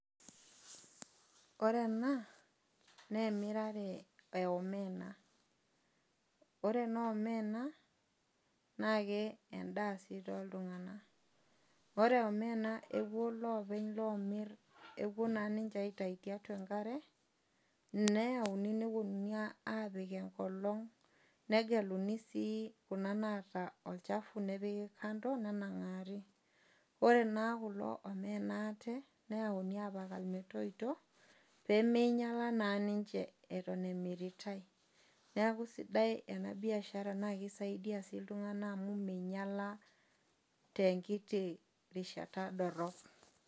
Ore ena na emirare e omena, ore ena omena nake endaa toltung'anak. Ore omena epuo lopeny omirrepuo na ninche aitau tiatua enkare neyauni neponu apik enkolong negeluni si kuna naata olchafu nepiki kando nenangari ore na kulo omena ake neyauni apik metoito pemeinyala na ake nincheetom emiritae neaku esidai enabiashara amu kisaidia ltunganak amu minyala tenkiti rishata dorop.